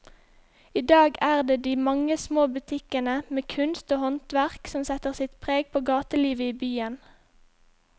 I dag er det de mange små butikkene med kunst og håndverk som setter sitt preg på gatelivet i byen.